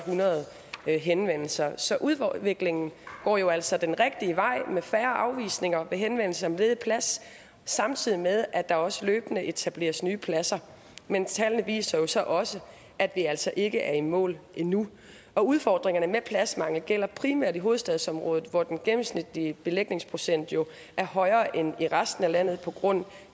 hundrede henvendelser så udviklingen går jo altså den rigtige vej med færre afvisninger ved henvendelse om en ledig plads samtidig med at der også løbende etableres nye pladser men tallene viser jo så også at vi altså ikke er i mål endnu udfordringerne med pladsmangel gælder primært i hovedstadsområdet hvor den gennemsnitlige belægningsprocent jo er højere end i resten af landet på grund